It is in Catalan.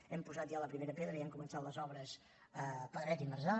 hem posat ja la primera pedra i hem començat les obres a pedret i marzà